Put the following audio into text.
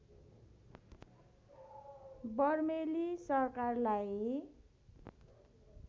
बर्मेली सरकारलाई